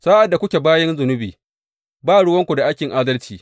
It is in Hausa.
Sa’ad da kuke bayin zunubi, ba ruwanku da aikin adalci.